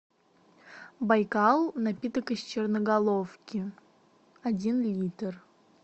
байкал напиток из черноголовки один литр